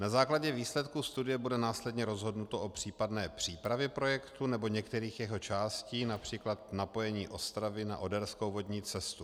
Na základě výsledků studie bude následně rozhodnuto o případné přípravě projektu nebo některých jeho částí, například napojení Ostravy na oderskou vodní cestu.